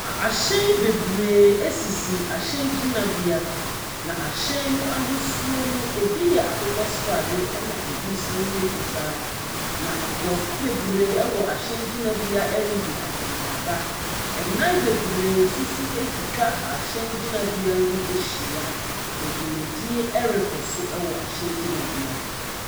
Ahyɛn bebree sisi ahyɛn gyinabea, na ahyen no ahosuo no, ebi yɛ akokɔ srade, ɛna ebi nso yɛ fitaa. Na nkurɔfo bebree wɔ ahyɛn gynabea redi akɔnneaba. Adan bebree no nso atwitwa ahyɛn gyinabea no ho ahyia, na dwumadie rekɔ so wɔ ahyɛn gyinabea hɔ.